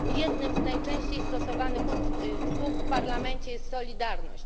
Jednym z najczęściej stosowanych słów w Parlamencie jest solidarność.